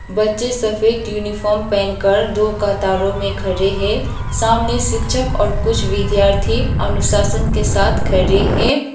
बच्चे सफेद यूनिफॉर्म पहनकर दो कतारों में खड़े हैं सामने शिक्षक और कुछ विद्यार्थी अनुशासन के साथ खड़े हैं।